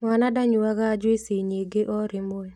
Mwana ndanyuaga njuici nyingĩ o rĩmwe